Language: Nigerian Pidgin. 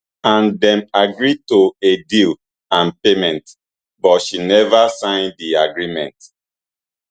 and dem agree to a deal and payment but she neva sign di agreement